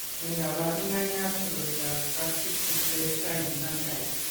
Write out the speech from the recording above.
Nee kabarunoikab koroitoab Spastic diplegia infantile?